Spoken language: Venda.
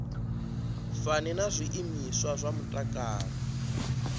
fani na zwiimiswa zwa mutakalo